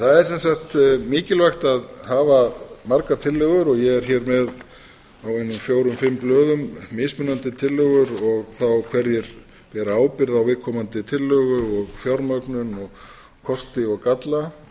það er sem sagt mikilvægt að hafa margar tillögur ég er hér með á einum fjórum fimm blöðum mismunandi tillögur og hverjir bera ábyrgð á viðkomandi tillögu og fjármögnun og kosti og galla